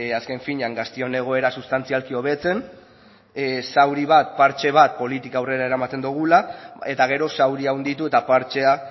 azken finean gazteon egoera sustantzialki hobetzen zauri bat partxe bat politika aurrera eramaten dogula eta gero zauria handitu eta partxea